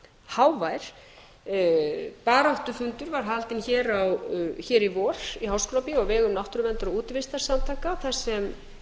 hávær baráttufundur var haldinn hér í vor í háskólabíói á vegum náttúruverndar og útivistarsamtaka þar sem